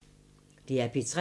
DR P3